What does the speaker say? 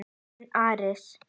Þín Arís.